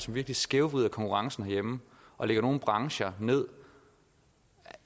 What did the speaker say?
virkelig skævvrider konkurrencen herhjemme og lægger nogle brancher ned